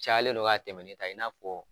Cayalen don ka tɛmɛ nin kan i n'a fɔ